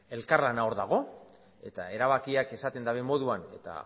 elkarlana hor dago eta erabakiak esaten daben moduan eta